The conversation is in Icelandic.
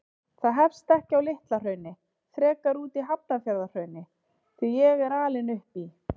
Það hefst ekki á Litla-Hrauni, frekar úti í Hafnarfjarðarhrauni, því ég er alinn upp í